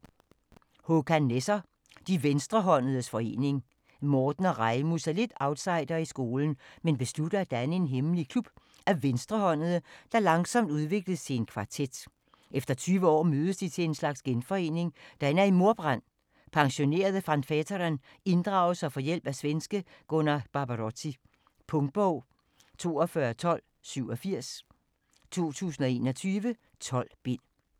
Nesser, Håkan: De venstrehåndedes forening Marten og Rejmus er lidt outsidere i skolen, men beslutter at danne en hemmelig klub af venstrehåndede, der langsomt udvides til en kvartet. Efter 20 år mødes de til en slags genforening, der ender i mordbrand. Pensionerede Van Veeteren inddrages og får hjælp af svenske Gunnar Barbarotti. Punktbog 421287 2021. 12 bind.